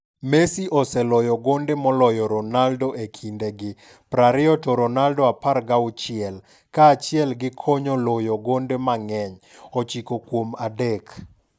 Messi oseloyo gonde moloyo Ronaldo e kinde gi (20 to Ronaldo 16), kaachiel gi konyo loyo gonde mang'eny (ochiko kuom adek).